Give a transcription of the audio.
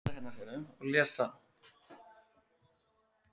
Það er engu öðru líkt.